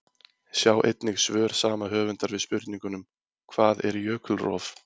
Sjá einnig svör sama höfundar við spurningunum: Hvað er jökulrof?